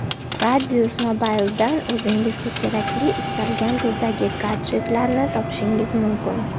Radius Mobile’dan o‘zingizga kerakli istalgan turdagi gadjetlarni topishingiz mumkin!